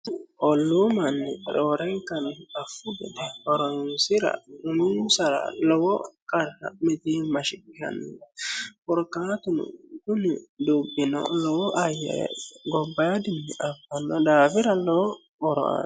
olluu manni roorenkannifi affu bede horonsira uminsara lowo qarra mitimmashiqishanno korkaatunu kuni dubbino lowo ayyae gobbaadinni abbanno daafira lowo horo anno